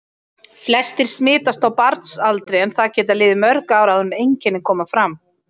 Flestir smitast á barnsaldri en það geta liðið mörg ár áður en einkenni koma fram.